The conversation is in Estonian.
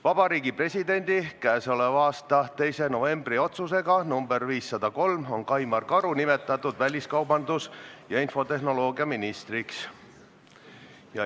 Vabariigi Presidendi k.a 2. novembri otsusega nr 503 on Kaimar Karu nimetatud väliskaubandus- ja infotehnoloogiaministriks.